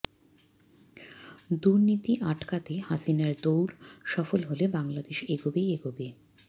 দুর্নীতি আটকাতে হাসিনার দৌড় সফল হলে বাংলাদেশ এগোবেই এগোবে